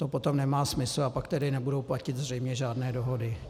To potom nemá smysl, a pak tedy nebudou platit zřejmě žádné dohody.